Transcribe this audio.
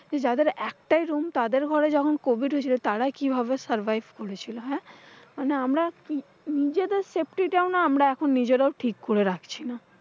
যে যাদের একটাই room তাদের ঘরে যখন covid হয়েছিল তারা কিভাবে survive করেছিল? হ্যাঁ, মানে আমরা কি নিজেদের safety টাও না আমরা নিজেরাও ঠিক করে রাখছি না।